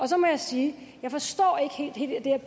så må jeg sige